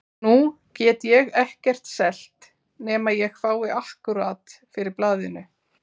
Nú get ég ekkert selt nema ég fái akkúrat fyrir blaðinu.